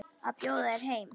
Að bjóða þér heim.